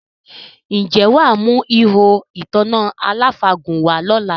Ǹjẹ́ wà á mú “ihò ìtanná aláfàgùn” wá lọ́la?